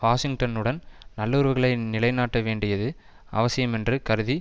வாஷிங்டனுடன் நல்லுறவுகளை நிலைநாட்ட வேண்டியது அவசியமென்று கருதி